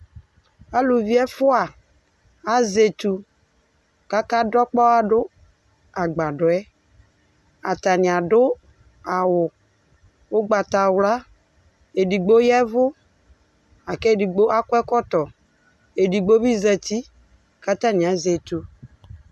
Aluvi ɛfʋa azɛ itsu kʋ akadʋ ɔkpɔwa dʋ agbadɔ yɛ Atanɩ adʋ awʋ ugbatawla Edigbo ya ɛvʋ akʋ edigbo akɔ ɛkɔtɔ Edigbo bɩ zǝtɩ kʋ atanɩ azɛ itsu